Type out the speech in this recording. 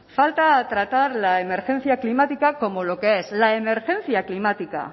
falta tratar la emergencia climática como lo que es la emergencia climática